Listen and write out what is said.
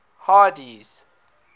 hardee's